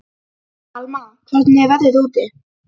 Alma, hvernig er veðrið úti?